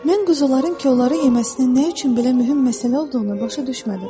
Mən quzuların kollarə yeməsinin nə üçün belə mühüm məsələ olduğunu başa düşmədim.